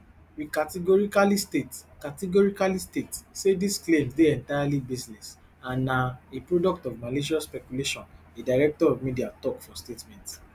we categorically state categorically state say dis claims dey entirely baseless and na a product of malicious speculation di director of media tok for statement